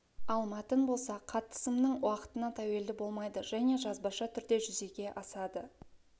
ал мәтін болса қатысымның уақытына тәуелді болмайды және жазбаша түрде жүзеге асады